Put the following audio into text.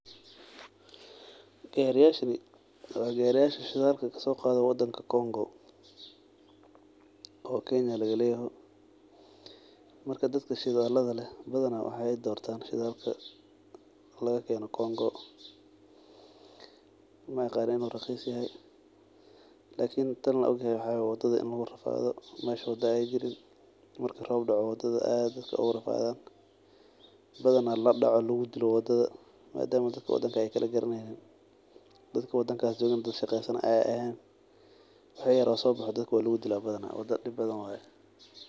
Gariyashan wa gariyasha shidalka logasoqado wadanka Congo oo kenya lagaleyoho marka badana dadka shidalada leh wexey dortan shidalka lagakeno congo maaqani in uu raqis yoho lakin tan an ogahay waxa waaye in wadada lugurafado oo rob marku dao wadada xumato dadban lugudilo madama wadanka ey kalagaraneynin dadka qadankas jogana dad an shaqeysanayo eh wixi yaro soboxo dadka lugudila badana.